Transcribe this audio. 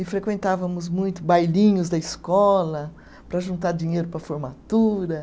E frequentávamos muito bailinhos da escola para juntar dinheiro para a formatura.